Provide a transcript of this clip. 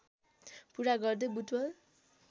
पुरा गर्दै बुटवल